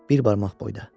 Bir barmaq boyda.